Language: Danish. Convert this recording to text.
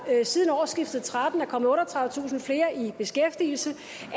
siden årsskiftet tretten er kommet otteogtredivetusind flere i beskæftigelse